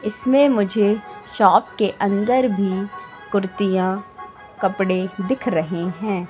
इसमें मुझे शॉप के अंदर भी कुर्तियां कपड़े दिख रहे हैं।